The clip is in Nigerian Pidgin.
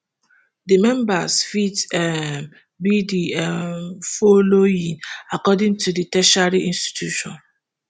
di members fit um be di um folloowing according to di tertiary institution